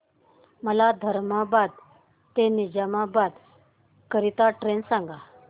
मला धर्माबाद ते निजामाबाद करीता ट्रेन सांगा